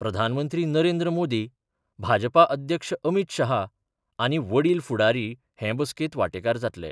प्रधानमंत्री नरेंद्र मोदी, भाजपा अध्यक्ष अमित शाह आनी वडील फुडारी हे बसकेंत वांटेकार जातले.